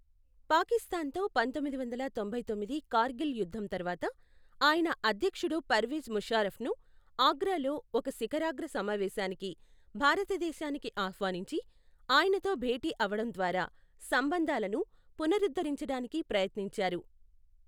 పాకిస్తాన్తో పంతొమ్మిది వందల తొంభై తొమ్మిది కార్గిల్ యుద్ధం తరువాత, ఆయన అధ్యక్షుడు పర్వేజ్ ముషార్రఫ్ను ఆగ్రాలో ఒక శిఖరాగ్ర సమావేశానికి భారతదేశానికి ఆహ్వానించి, ఆయనతో భేటి అవడం ద్వారా సంబంధాలను పునరుద్ధరించడానికి ప్రయత్నించారు.